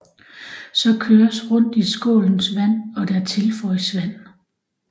Så køres rundt i skålens vand og der tilføjes vand